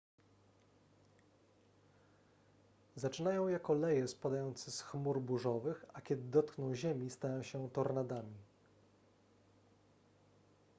zaczynają jako leje spadające z chmur burzowych a kiedy dotkną ziemi stają się tornadami